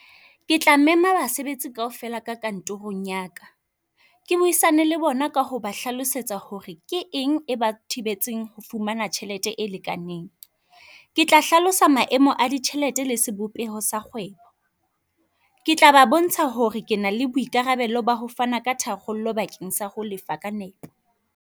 Ke tla mema basebetsi ka ho fela ka kantorong ya ka, ke buisane le bona ka ho ba hlalosetsa hore ke eng e ba thibetseng ho fumana tjhelete e lekaneng. Ke tla hlalosa maemo a ditjhelete le sebopeho sa kgwebo. Ke tla ba bontsha hore ke na le boikarabelo ba ho fana ka tharollo bakeng sa ho lefa ka nepo.